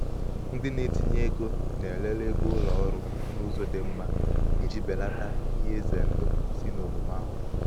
ndị na-etinye ego na-elele ego ụlọ ọrụ n’ụzọ dị mma iji belata belata ihe ize ndụ si n’omume aghụghọ.